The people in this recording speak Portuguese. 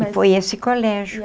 E foi esse colégio.